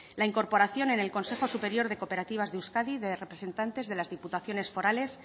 la incorporación en el consejo superior de cooperativas de euskadi de representantes de las diputaciones forales